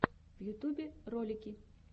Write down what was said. в ютубе ролики